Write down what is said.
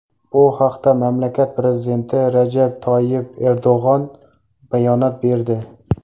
Bu haqda mamlakat prezidenti Rajab Toyyib Erdo‘g‘on bayonot berdi.